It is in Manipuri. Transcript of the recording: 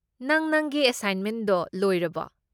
ꯅꯪ ꯅꯪꯒꯤ ꯑꯦꯁꯥꯏꯟꯃꯦꯟꯗꯣ ꯂꯣꯏꯔꯕꯣ?